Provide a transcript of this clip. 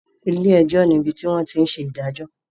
Ilé-ẹjọ́ ní ibi tí wọ́n tí ń ṣe ìdájọ́.